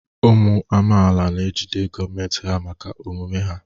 Ụmụ amaala na ejide gọọmentị ha maka omume ha.